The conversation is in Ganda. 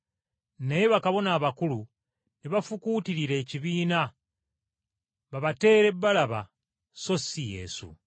Naye bakabona abakulu ne bafukuutirira ekibiina babateere Balaba sso ssi Yesu.